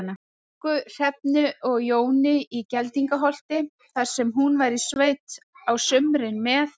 Ingu, Hrefnu og Jóni í Geldingaholti, þar sem hún var í sveit á sumrin með